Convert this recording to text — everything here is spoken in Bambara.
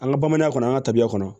An ka bamananya kɔnɔ an ka tabiya kɔnɔ